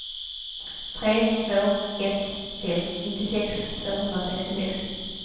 tre två ett fem nittiosex tvåhundrasextiosex